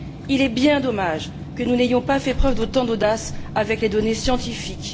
Il est bien dommage que nous n'ayons pas fait preuve d'autant d'audace avec les données scientifiques.